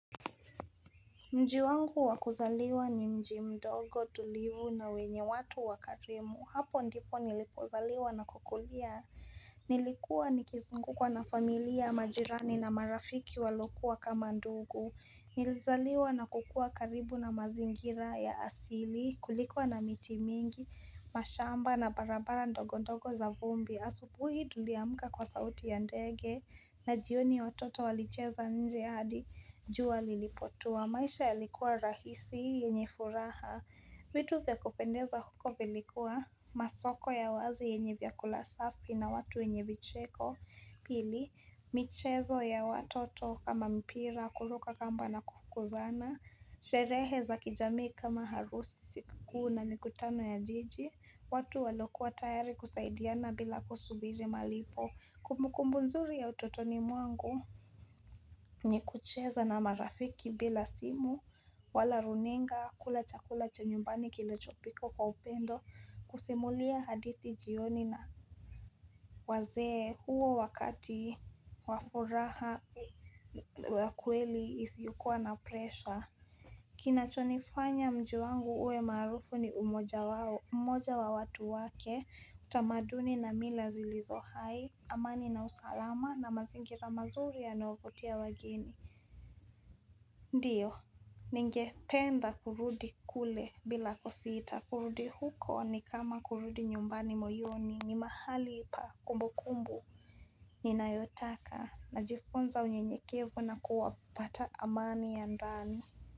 Mji wangu wa kuzaliwa ni mji mdogo tulivu na wenye watu wakarimu. Hapo ndipo nilipozaliwa na kukulia. Nilikuwa nikizungukwa na familia majirani na marafiki walokuwa kama ndugu. Nilizaliwa na kukua karibu na mazingira ya asili. Kulikuwa na miti mingi, mashamba na barabara ndogondogo za vumbi. Asubuhi tuliamuka kwa sauti ya ndege na jioni watoto walicheza nje hadi. Jua lilipotua, maisha yalikuwa rahisi, yenye furaha vitu vya kupendeza huko vilikuwa Masoko ya wazi yenye vyakula safi na watu wenye vicheko Pili, michezo ya watoto kama mpira, kuruka kamba na kufukuzana Sherehe za kijami kama harusi, siku kikuu na mikutano ya jiji watu waliokuwa tayari kusaidiana bila kusubiri malipo Kumukumbu nzuri ya utotoni mwangu ni kucheza na marafiki bila simu wala runinga kula chakula cha nyumbani kilichopikwa kwa upendo kusimulia hadithi jioni na wazee huo wakati wa furaha wa kweli isiyokua na presha. Kinachonifanya mji wangu uwe maarufu ni umoja wa watu wake utamaduni na mila zilizo hai amani na usalama na mazingira mazuri yanaovutia wageni. Ndiyo ningependa kurudi kule bila kusita kurudi huko ni kama kurudi nyumbani moyoni ni mahali pa kumbukumbu Ninayotaka najifonza unyenyekevu na kuwapata amani ya ndani.